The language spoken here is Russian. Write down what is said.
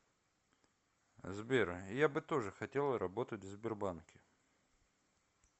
сбер я бы тоже хотела работать в сбербанке